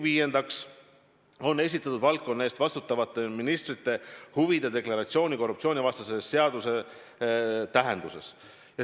Viiendaks, ta on esitanud valdkonna eest vastutavale ministrile huvide deklaratsiooni korruptsioonivastase seaduse tähenduses.